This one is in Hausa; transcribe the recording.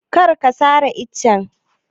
Kar ka sare ice!